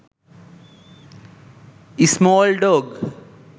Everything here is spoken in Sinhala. small dog